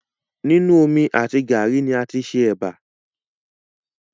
Nínu omi àti gàárì ni a tí ṣe ẹbà